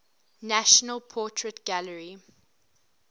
national portrait gallery